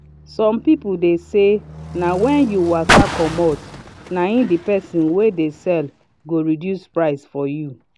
some people deh say na when you waka comot nai the person wey dey sell go reduce price for you